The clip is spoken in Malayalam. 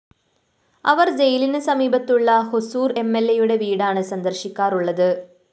അവര്‍ ജയിലിനു സമീപത്തുള്ള ഹൊസൂര്‍ എംഎല്‍എയുടെ വീടാണ് സന്ദര്‍ശിക്കാറുള്ളത്